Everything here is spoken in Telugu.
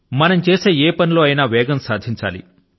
మనం చేసే ఏ పని లో అయినా సరే వేగాన్ని సాధించాలి